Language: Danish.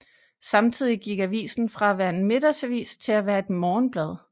Samtidig gik avisen fra at være en middagsavis til at være et morgenblad